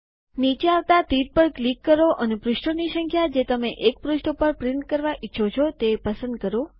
નીચે આવતા તીર પર ક્લિક કરો અને પૃષ્ઠોની સંખ્યા જે તમે ૧ પૃષ્ઠ ઉપર પ્રિન્ટ કરવા ઈચ્છો છો તે પસંદ કરો